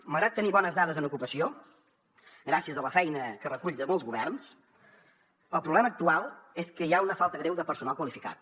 malgrat tenir bones dades en ocupació gràcies a la feina que recull de molts governs el problema actual és que hi ha una falta greu de personal qualificat